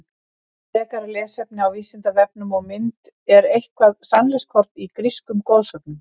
Frekara lesefni á Vísindavefnum og mynd Er eitthvert sannleikskorn í grísku goðsögunum?